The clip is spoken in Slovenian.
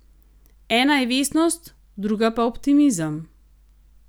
Ena je vestnost druga pa optimizem.